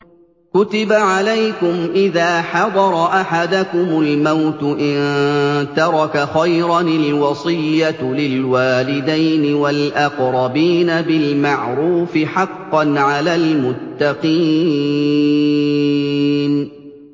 كُتِبَ عَلَيْكُمْ إِذَا حَضَرَ أَحَدَكُمُ الْمَوْتُ إِن تَرَكَ خَيْرًا الْوَصِيَّةُ لِلْوَالِدَيْنِ وَالْأَقْرَبِينَ بِالْمَعْرُوفِ ۖ حَقًّا عَلَى الْمُتَّقِينَ